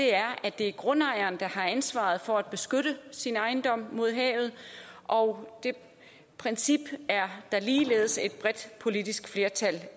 er at det er grundejeren der har ansvaret for at beskytte sin ejendom mod havet og det princip er der ligeledes et bredt politisk flertal